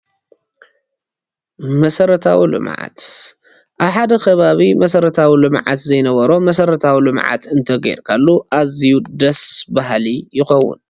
መሰረታዊ ልምዓት፡- ኣብ ሓደ ከባቢ መሰረታዊ ልምዓት ዘይነበሮ መሰረታዊ ልምዓት እንተገይርካሉ ኣዝዩ ደስ ባሃሊ ይኸውን፡፡